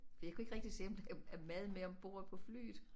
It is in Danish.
For jeg kunne ikke rigtig se om der er mad med ombord på flyet